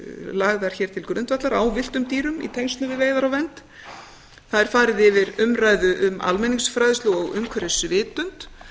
lagðar hér til grundvallar á villtum dýrum í tengslum við veiðar og vernd það er farið yfir umræðu um almenningsfræðslu og umhverfisvitund